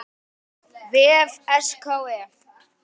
vef SKE.